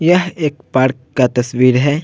यह एक पार्क का तस्वीर है।